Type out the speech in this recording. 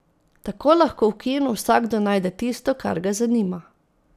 Tako lahko v kinu vsakdo najde tisto, kar ga zanima.